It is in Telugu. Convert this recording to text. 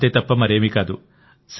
అంతేతప్ప మరేమీ కాదు